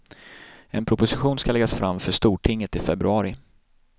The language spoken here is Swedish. En proposition ska läggas fram för stortinget i februari.